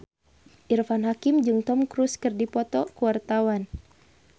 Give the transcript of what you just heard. Irfan Hakim jeung Tom Cruise keur dipoto ku wartawan